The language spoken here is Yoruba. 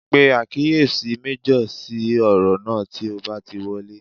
Pe àkíyèsí méjọ̀ sí ọ̀rọ̀ náà tí o bá ti wọlé